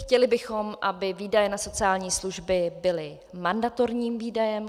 Chtěli bychom, aby výdaje na sociální služby byly mandatorním výdajem.